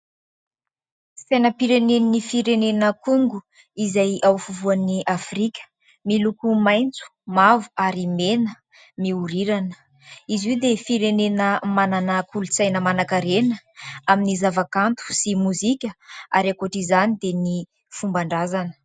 Sainam-pirenen'ny firenena "Congo" izay ao afovoan'i Afrika miloko maitso, mavo ary mena mihorirana. Izy io dia firenena manana kolontsaina manankarena amin'ny zavakanto sy mozika ary ankoatra izany dia ny fomban-drazana.